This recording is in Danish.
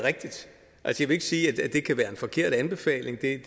rigtigt ikke sige at det kan være forkert anbefaling det